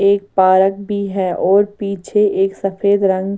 एक पारक भी है और पीछे एक सफेद रंग।